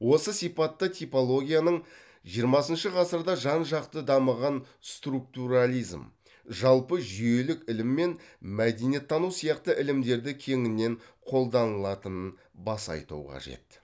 осы сипатта типологияның жиырмасыншы ғасырда жан жақты дамыған структурализм жалпы жүйелік ілім мен мәдениеттану сияқты ілімдерде кеңінен қолданылатынын баса айту қажет